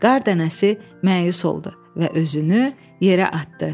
Qar dənəsi məyus oldu və özünü yerə atdı.